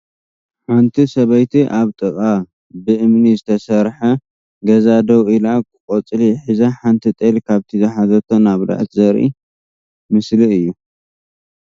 ሓንቲ ሰበይቲ ኣብ ጥቃ ብእምኒ ዝተሰርሐ ገዛ ደው ኢላ ቆፅሊ ሒዛ ሓንቲ ጤል ካብቲ ዝሓዘቶ እናበልዐት ዘርኢ ምስሊ እዩ ።